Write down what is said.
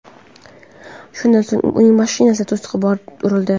Shundan so‘ng, uning mashinasi to‘siqqa borib urildi.